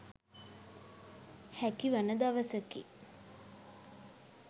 හැකිවන දවසකි.